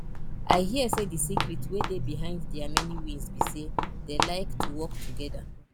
i hear say the secret wey dey behind their many wins be say dey like to work together